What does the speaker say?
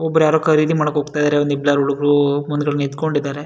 ಒಬ್ರ್ ಯಾರೋ ಖರೀದಿ ಮಾಡೋಕ್ ಹೋಗ್ತಾ ಇದ್ದಾರೆ ಒಂದ್ ಇಬ್ರು ಯಾರೋ ಹುಡುಗರು ನಿಂತ್ಕೊಂಡಿದ್ದಾರೆ.